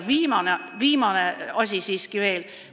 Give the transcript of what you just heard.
Viimane asi siiski veel.